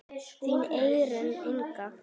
Þín Eyrún Inga.